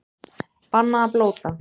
Bannað að blóta